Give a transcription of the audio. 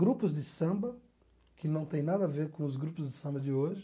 Grupos de samba, que não tem nada a ver com os grupos de samba de hoje.